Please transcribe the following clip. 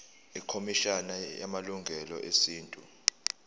ikhomishana yamalungelo esintu